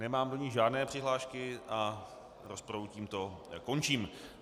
Nemám do ní žádné přihlášky a rozpravu tímto končím.